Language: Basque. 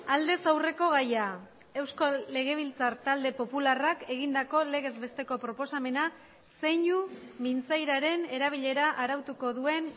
aldez aurreko gaia euskal legebiltzar talde popularrak egindako legez besteko proposamena zeinu mintzairaren erabilera arautuko duen